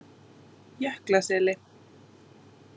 Jöklaseli